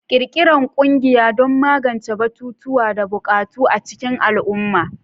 Ƙirƙirar ƙungiyoyi don magance batutuwa da buƙatu a cikin al'umma.